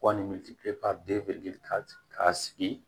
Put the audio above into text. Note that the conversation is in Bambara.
Wa ani ka sigi